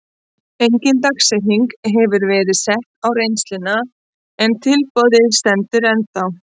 Engin dagsetning hefur verið sett á reynsluna en tilboðið stendur ennþá.